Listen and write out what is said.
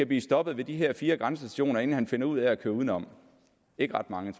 bliver stoppet ved de her fire grænsestationer inden han finder ud at køre uden om ikke ret mange